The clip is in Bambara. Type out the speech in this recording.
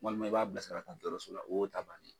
Walima i b'a bila sira ka dɔgɔrɔso la o y'o ta bannen